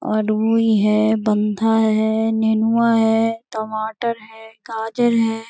आदमी है बंधा है नेणुवा है टमाटर है गाजर है।